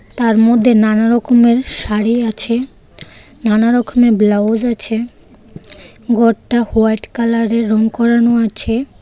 তার মধ্যে নানা রকমের শাড়ি আছে নানা রকমের ব্লাউজ আছে ঘরটা হোয়াইট কালারের রং করানো আছে.